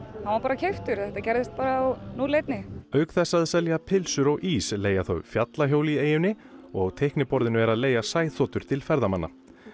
var bara keyptur þetta gerðist bara á núll einni auk þess að selja pylsur og ís leigja þau fjallahjól í eyjunni og á teikniborðinu er að leigja sæþotur til ferðamanna